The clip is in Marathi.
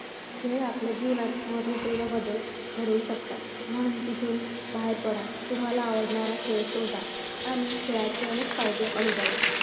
खेळ आपल्या जीवनात महत्वपूर्ण बदल घडवू शकतात. म्हणून तिथून बाहेर पडा. तुम्हाला आवडणारा खेळ शोधा. आणि खेळाचे अनेक फायदे अनुभवा.